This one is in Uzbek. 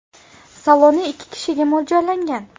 Saloni ikki kishiga mo‘ljallangan.